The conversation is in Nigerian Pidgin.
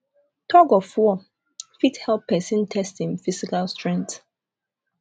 thug of war fit help person test im physical strengtrh